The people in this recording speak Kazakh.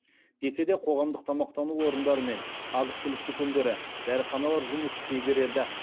десе де қоғамдық тамақтану орындары мен азық түлік дүкендері дәріханалар жұмыс істей береді